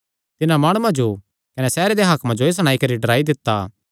तिन्हां माणुआं जो कने सैहरे देयां हाकमा जो एह़ सणाई करी डराई दित्ता